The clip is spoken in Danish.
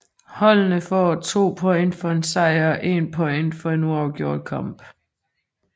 Holdene får 2 point for en sejr og 1 point ved en uafgjort kamp